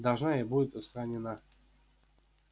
должна и будет устранена